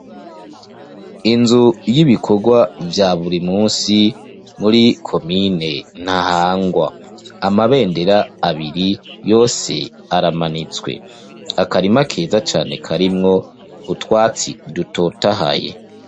Inzu y'ibikogwa vya buri munsi muri komine ntahangwa amabendera abiri yose aramanitswe akarima keza cane karimwo utwatsi dutotahaye.